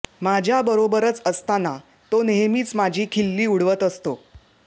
माझ्याबरोबरच असताना तो नेहमीच माझी खिल्ली उडवत असतो